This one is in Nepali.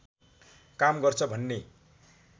काम गर्छ भन्ने